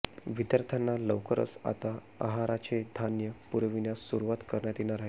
विद्यार्थ्यांना लवकरच आता आहाराचे धान्य पुरविण्यास सुरुवात करण्यात येणार आहे